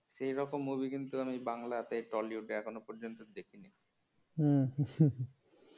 সেইরকম movie কিন্তু আমি বাংলাতে tollywood এখনো পর্যন্ত দেখিনি।